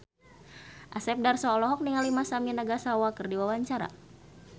Asep Darso olohok ningali Masami Nagasawa keur diwawancara